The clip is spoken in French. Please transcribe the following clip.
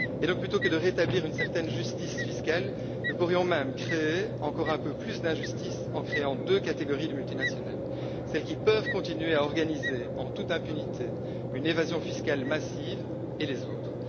Aussi, plutôt que de rétablir une certaine justice fiscale, nous pourrions même créer encore un peu plus d'injustice, en créant deux catégories de multinationales celles qui peuvent continuer à organiser en toute impunité une évasion fiscale massive et les autres.